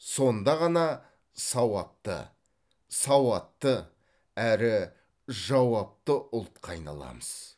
сонда ғана сауапты сауатты әрі жауапты ұлтқа айналамыз